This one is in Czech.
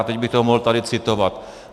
A teď bych to tady mohl citovat.